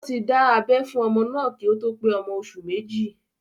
Wọ́n ti dá abẹ́ fún ọmọ náà kí ó tó pé ọmọ oṣù méjì